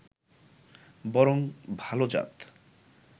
বরং ভালো-জাত